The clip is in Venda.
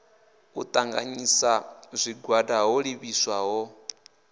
u ṱanganyisa zwigwada ho livhiswaho